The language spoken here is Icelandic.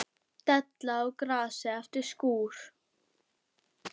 Della á grasi eftir skúr.